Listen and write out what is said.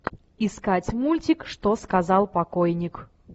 искать мультик что сказал покойник